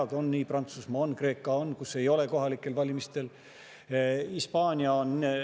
Aga on nii, Prantsusmaa ja Kreeka on, kus ei ole kohalikel valimistel.